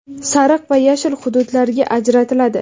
sariq va yashil hududlarga ajratiladi.